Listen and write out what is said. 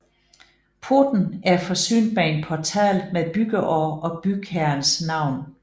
Porten er forsynet med en portal med byggeår og bygherrens navn